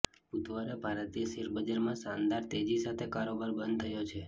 બુધવારે ભારતીય શેર બજારમાં શાનદાર તેજી સાથે કારોબાર બંધ થયો છે